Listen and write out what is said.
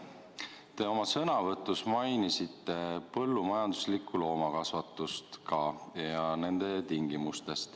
Te oma sõnavõtus mainisite põllumajanduslikku loomakasvatust ka, selle tingimusi.